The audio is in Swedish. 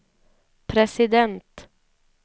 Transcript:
president